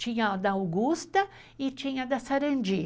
Tinha a da Augusta e tinha a da Sarandí.